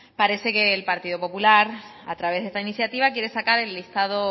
parece que el partido popular a través de esta iniciativa quiere sacar el listado